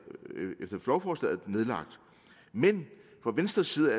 nedlagt men fra venstres side